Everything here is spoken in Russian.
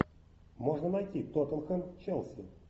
можно найти тоттенхэм челси